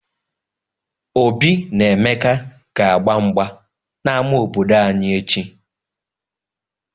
Obi na Emeka ga-gba mgba n'ama obodo anyị echi.